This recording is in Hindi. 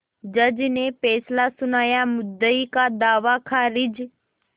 जज ने फैसला सुनायामुद्दई का दावा खारिज